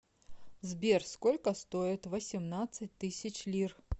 сбер сколько стоит восемнадцать тысяч лир